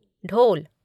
ढोल